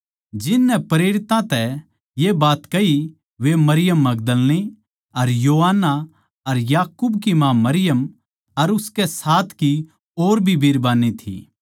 जिन नै प्रेरितां तै ये बात कही वे मरियम मगदलीनी अर योअन्ना अर याकूब की माँ मरियम अर उसकै साथ की और भी बिरबान्नी थी